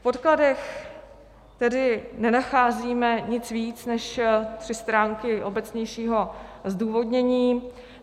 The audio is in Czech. V podkladech tedy nenacházíme nic víc než tři stránky obecnějšího zdůvodnění.